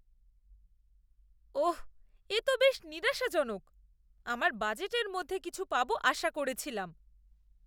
ওঃ, এ তো বেশ নিরাশাজনক। আমার বাজেটের মধ্যে কিছু পাবো আশা করেছিলাম।